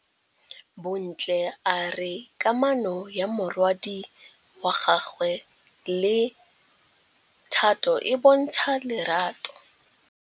Bontle a re kamanô ya morwadi wa gagwe le Thato e bontsha lerato.